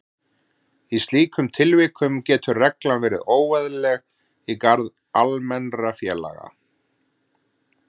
Í slíkum tilvikum getur reglan verið óeðlileg í garð almennra félaga.